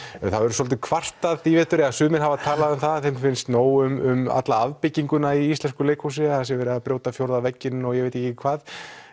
verið svolítið kvartað í vetur sumir hafa talað um það að þeim finnist nóg um afbygginguna í íslensku leikhúsi það sé verið að brjóta fjórða vegginn og ég veit ekki hvað